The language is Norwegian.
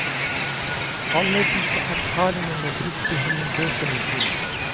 Alle disse erfaringene brukte hun i bøkene sine.